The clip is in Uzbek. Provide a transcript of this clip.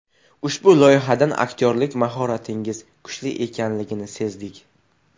Ushbu loyihadan aktyorlik mahoratingiz kuchli ekanligini sezdik.